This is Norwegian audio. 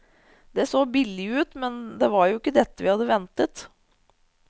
Det så billig ut, men det var jo dette vi hadde ventet.